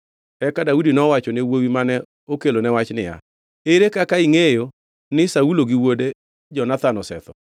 Eka Daudi nowachone wuowi mane okelone wach niya, “Ere kaka ingʼeyo ni Saulo gi wuode Jonathan osetho?”